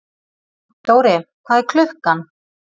Dóri, hvað er klukkan?